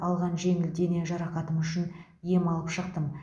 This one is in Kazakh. алған жеңіл дене жарақатым үшін ем алып шықтым